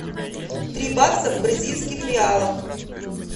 три бакса в бразильских реалах